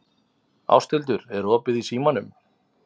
Ásthildur, er opið í Símanum?